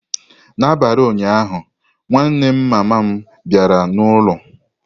N'abalị ụnyaahụ, nwanne mama m bịara n'ụlọ.